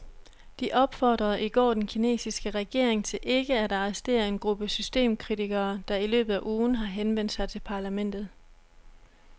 De opfordrede i går den kinesiske regering til ikke at arrestere en gruppe systemkritikere, der i løbet af ugen har henvendt sig til parlamentet.